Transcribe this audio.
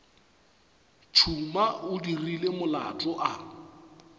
tšhuma o dirile molato a